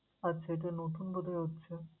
আচ্ছা, এটা নতুন বোধহয় হচ্ছে।